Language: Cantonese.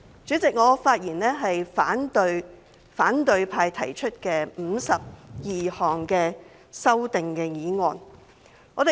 主席，我發言反對反對派提出的52項修正案。